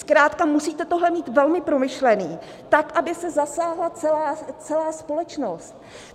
Zkrátka musíte tohle mít velmi promyšlené tak, aby se zasáhla celá společnost.